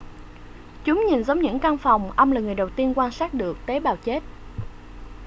chúng nhìn giống những căn phòng ông là người đầu tiên quan sát được tế bào chết